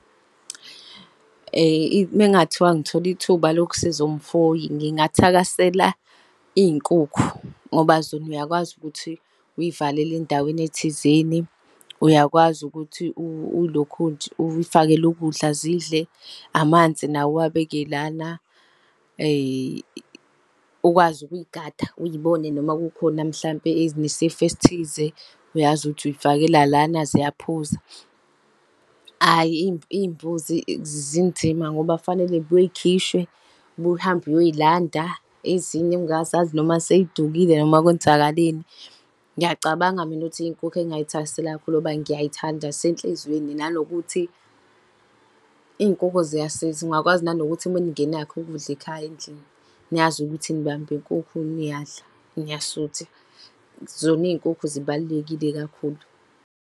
Mengathiwa ngithola ithuba lokusiza umfuyi, ngingathakasela iy'nkukhu, ngoba zona uyakwazi ukuthi uy'valele endaweni thizeni. Uyakwazi ukuthi uy'lokhunje, uyifakele ukudla zidle, amanzi nawo uwabeke lana, . Ukwazi ukuy'gada, uy'bone noma kukhona mhlampe ezinesifo esithize uyazi ukuthi uy'fakela lana ziyaphuza. Ayi, iy'mbuzi zinzima ngoba fanele zibuye zikhishwe, ubuye uhambe uyoy'landa, ezinye ungazazi noma sey'dukile noma kwenzakaleni. Ngiyacabanga mina ukuthi iy'nkukhu engay'thakasela kakhulu ngoba ngiyay'thanda zisenhlizweni nanokuthi, iy'nkukhu ziyasiza, ungakwazi nanokuthi maningenakho ukudla ekhaya endlini, niyazi ukuthi nibamba inkukhu niyadla, niyasutha. Zona iy'nkukhu zibalulekile kakhulu.